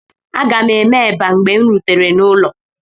Aga m eme eba mgbe m rutere n'ụlọ.